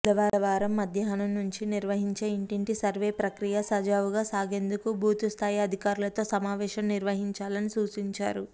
బుధవారం మధ్యాహ్నం నుంచి నిర్వహించే ఇంటింటి సర్వే ప్రక్రియ సజావుగా సాగేందుకు బూత్స్థాయి అధికారులతో సమావేశం నిర్వహించాలని సూచించారు